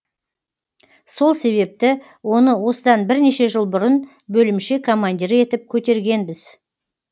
сол себепті оны осыдан бірнеше жыл бұрын бөлімше командирі етіп көтергенбіз